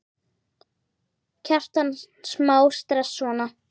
Kjartan: Smá stress, svona?